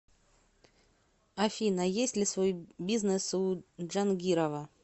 афина есть ли свой бизнес у джангирова